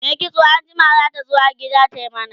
Mai kitso anjima zata zo har gida ta mana